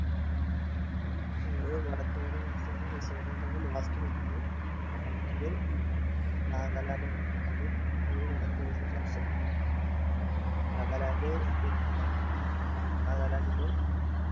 ഒരു വടക്ക് കിഴക്കൻ സംസ്ഥാനം മിസോറാം ആണ് last പറഞ്ഞത് അടുത്തത് നാഗാലാ‌ൻഡ് ആണ് അതും ഒരു വടക്ക് കിഴക്കൻ സംസ്ഥാനാണ് നാഗാലാന്റ് പിന്നാ ആഹ് നാഗാലാന്റിന്റെ